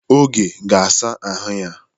Oge ga-asa ahụ ya.